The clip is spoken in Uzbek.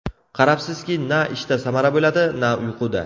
Qarabsizki, na ishda samara bo‘ladi, na uyquda.